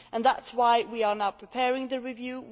That is why we are now preparing the review.